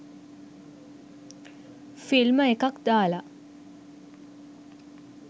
ෆිල්ම එකක් දාල.